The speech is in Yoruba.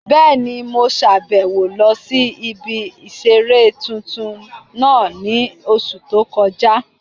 Bẹ́ẹ̀ni, mo sàbẹ̀wo lọ sí ibi ìseré tuntun náà ní oṣù tó kọjá